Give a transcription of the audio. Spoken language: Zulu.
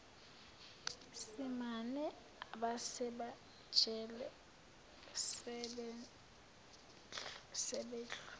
simame abasemajele sebehlu